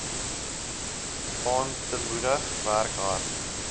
aantemoedig werk hard